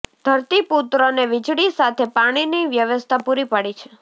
ધરતી પુત્રોને વિજળી સાથે પાણીની વ્યવસ્થા પૂરી પાડી છે